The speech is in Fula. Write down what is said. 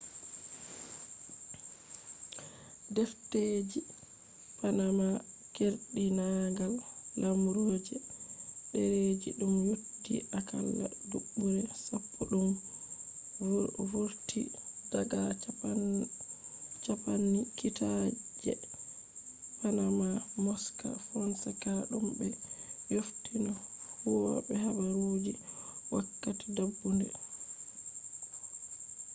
defteji panama” keerdinaangal lemaru je dereji dum yotti akalla dubuure sappo dum vurti daga campani kiita je panama mossack fonseca dum be yofini huwobe habaruji wakkati dabbunde 2016